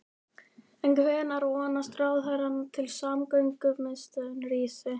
En hvenær vonast ráðherrann til að samgöngumiðstöðin rísi?